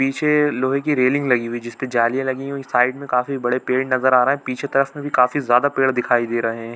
पीछे लोहे की रेलिंग लगी हुई है जिसपे जालियां लगी हुई है साइड में काफी बड़े पेड़ नज़र आ रहे है पीछे तरफ में भी काफी ज्यादा पेड़ दिखाई दे रहे है।